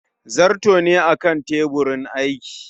zarto ne a Kan teburin aiki